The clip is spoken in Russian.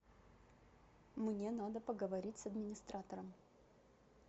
мне надо поговорить с администратором